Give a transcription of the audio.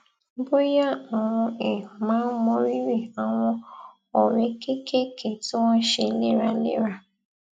bóyá àwọn èèyàn máa ń mọrírì àwọn ọrẹ kéékèèké tí wón ń ṣe léraléra